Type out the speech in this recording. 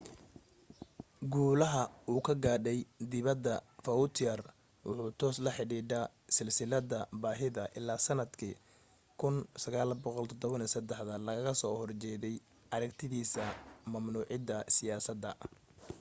guulaha uu ka gaadhay dibada vautier wuxuu toos la xidhidha silsilada baahida ilaa sanadka 1973 lagga soo hojeeday aragtidisa mamnuida siyasada